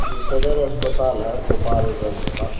ये सदर हस्पताल है गोपालगंज का।